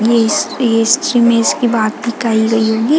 विस्क इश्च मिस्क की बात भी कही गई होगी।